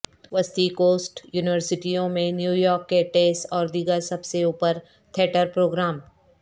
وسطی کوسٹ یونیورسٹیوں میں نیویارک کے ٹیس اور دیگر سب سے اوپر تھیٹر پروگرام